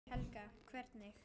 Helga: Hvernig?